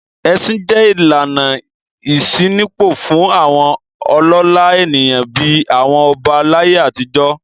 Ẹṣin jẹ́ ìlànà ìṣínípò fún àwọn ọlọ́lá ènìyàn bí i àwọn ọba láyé àtijọ́.